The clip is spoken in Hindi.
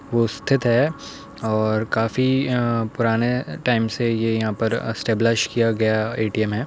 वो स्थित है और काफी पुराने टाइम से ये यहां पर स्टेबलेश किया गया ए टी एम है।